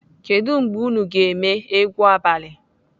Kedụ mgbe unu ga-eme egwu abalị?